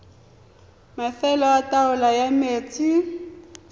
mafelo a taolo ya metsi